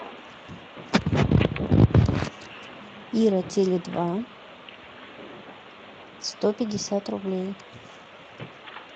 ира теле два сто пятьдесят рублей